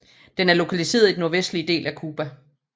Den er lokaliseret i den nordvestlige del af Cuba